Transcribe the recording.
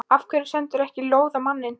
Af hverju sendirðu ekki lóð á manninn?